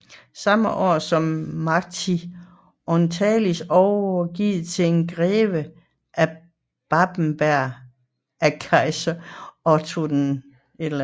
Samme år blev Marchia Orientalis overgivet til en greve af Babenberg af kejser Otto II